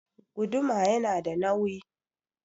Guduma yana da nawi